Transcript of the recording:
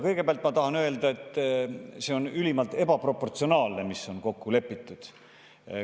Kõigepealt tahan öelda, et see on ülimalt ebaproportsionaalne, mis on kokku lepitud.